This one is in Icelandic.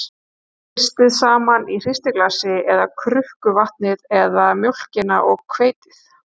Hristið saman í hristiglasi eða krukku vatnið eða mjólkina og hveitið.